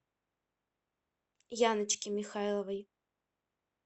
яночке михайловой